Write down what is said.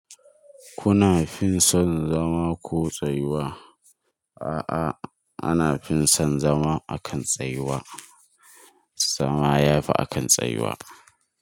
Kuna fison zama ko tsayuwa? A'a, ana fison zama a kan tsayuwa. Zama yafi a kan tsayuwa.